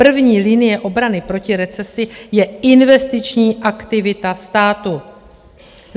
První linie obrany proti recesi je investiční aktivita státu.